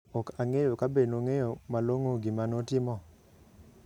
Ok ang'eyo kabe nong'eyo malong'o gima notimo.